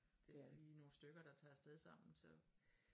Det vi nogle stykker der tager afsted sammen så